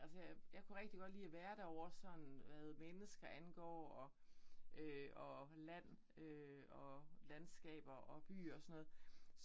Altså jeg jeg kunne rigtig godt lide at være derovre sådan hvad mennesker angår og øh og land øh og landskaber og byer sådan noget